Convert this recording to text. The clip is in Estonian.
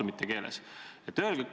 Mitte keegi meist ei tohiks leppida.